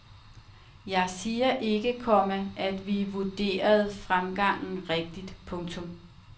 Jeg siger ikke, komma at vi vurderede fremgangen rigtigt. punktum